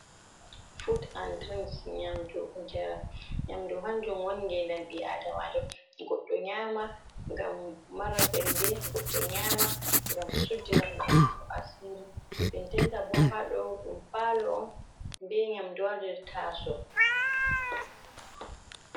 Fut an dirinks, nyamdu njaram, nyamdu hanjun woni ngedam bi adamajo, goddo nyama ngam mara sembe, goddo nyama ngam suddina goɗɗo asiri, dendenta bo ha ɗo ɗum palo on be nyamdu ha nder taso.